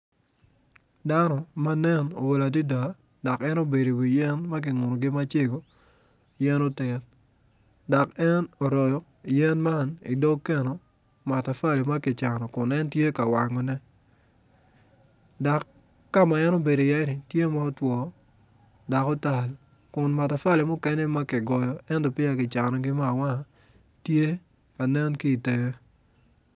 Dano ma nen ool adida dok en obedo iwiyen ma ki ngunu yen otit dok en oroyo yen man idog keno matafali ma ki cano Kun en tye ka wangone dak ka ma en obedo iye-ni tye ma otwo dak otal Kun matafali mukene ma kigoyo ento peya ki canogi me awanga tye ka nen ki itenge.